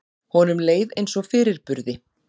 Honum leið eins og fyrirburði.